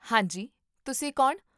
ਹਾਂ ਜੀ, ਤੁਸੀਂ ਕੌਣ?